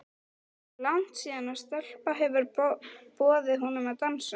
Það er langt síðan stelpa hefur boðið honum að dansa.